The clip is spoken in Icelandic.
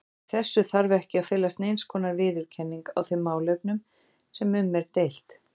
Í þessu þarf ekki að felast neinskonar viðurkenning á þeim málefnum sem um er deilt.